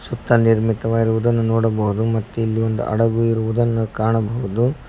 ಸುತ್ತ ನಿರ್ಮಿತವಾಗಿರುವುದನ್ನು ನೋಡಬಹುದು ಮತ್ತು ಇಲ್ಲಿ ಒಂದು ಹಡಗು ಇರುವುದು ಕಾಣಬಹುದು.